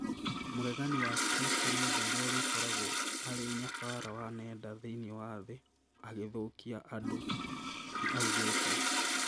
"Mũregani wa Kristo nĩ ũndũ urĩa ũrĩkoragwo arĩ nyabara wa nenda thĩiniĩ wa thĩ agĩthũkia andũ," nĩaugĩte